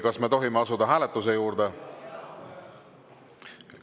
Kas me tohime asuda hääletuse juurde?